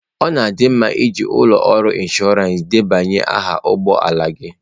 Ọ dị mma iji ụlọ ọrụ inshọransị debanye aha ụgbọ ala gị.